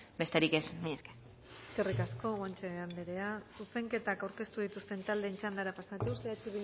besterik ez mila esker eskerrik asko guanche andrea zuzenketak aurkeztu dituzten taldeen txandara pasatuz eh